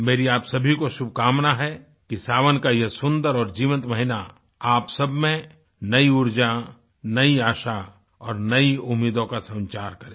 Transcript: मेरी आप सभी को शुभकामना है कि सावन का यह सुंदर और जीवंत महीना आप सबमें नई ऊर्जा नई आशा और नई उम्मीदों का संचार करे